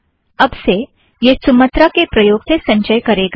अब से यह सुमत्रा के प्रयोग से संचय करेगा